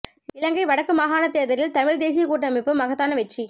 இலங்கை வடக்கு மாகாணத் தேர்தலில் தமிழ் தேசியக் கூட்டமைப்பு மகத்தான வெற்றி